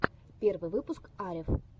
первый выпуск арев